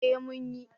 Eh mun yi